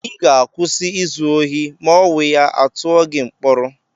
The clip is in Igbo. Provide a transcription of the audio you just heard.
Ị ga-akwụsị izu ohi ma owuya, à tụọ gị mkpọrọ!